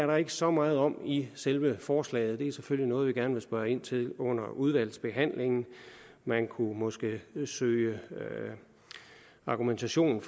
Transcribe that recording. der ikke så meget om i selve forslaget det er selvfølgelig noget vi gerne vil spørge ind til under udvalgsbehandlingen man kunne måske søge argumentation